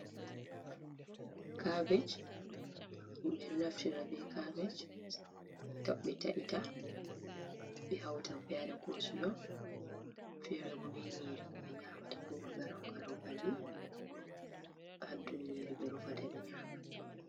Cabej, ɓeɗo naftira be cabej be taita ɓe hauta ɓe wade koslo fere bo ɓe nyiri be nyamata, ko be garau garau balli ha. dow nyiri ɓe rufata ɓe nyama.